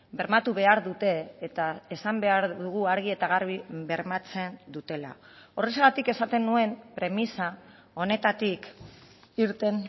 bermatu behar dute eta esan behar dugu argi eta garbi bermatzen dutela horrexegatik esaten nuen premisa honetatik irten